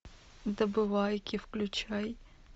добывайки включай